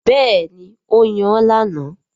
Bẹ́ẹ̀ni, ó yan lánàá